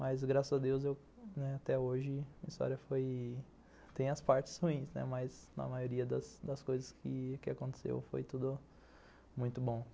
Mas, graças a Deus, até hoje a história tem as partes ruins, mas na maioria das coisas que aconteceram foi tudo muito bom.